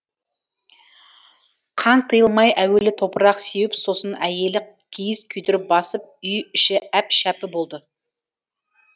қан тыйылмай әуелі топырақ сеуіп сосын әйелі киіз күйдіріп басып үй іші әп шәпі болды